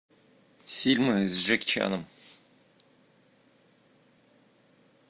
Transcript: фильмы с джеки чаном